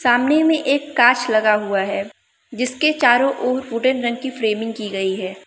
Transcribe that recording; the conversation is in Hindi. सामने में एक कांच लगा हुआ है जिसके चारों ओर वुडन रंग की फ्रेमिंग की गई है।